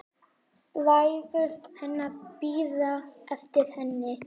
Bræður hennar bíða eftir henni.